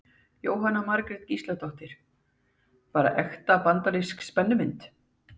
Jóhanna Margrét Gísladóttir: Bara ekta bandarísk spennumynd?